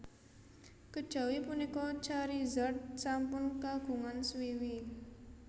Kejawi punika Charizard sampun kagungan swiwi